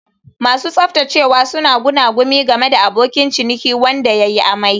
Masu tsaftacewa suna gunaguni game da abokin ciniki wanda ya yi amai.